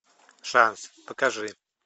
шанс покажи